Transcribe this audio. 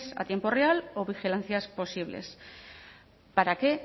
a tiempo real o vigilancias posibles para qué